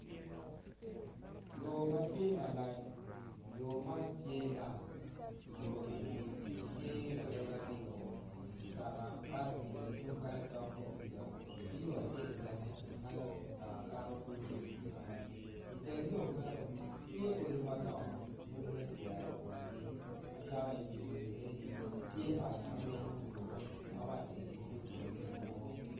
Yo matye malac, yo man tye lam yo eni tye ladoge aryo mutoka kato ki yo tungkany dok tung kuca ki yo acel bene weko mutoka kato kiyo tung kany i teng yo meno tye odi madongo, odi makiwero kongi, kayaka, i digudi eni tye mac mamenyo yo mamac eni tiyo pole idiwor.